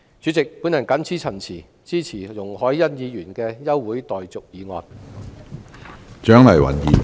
主席，我謹此陳辭，支持容海恩議員的休會待續議案。